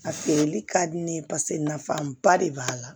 A feereli ka di ne ye paseke nafaba de b'a la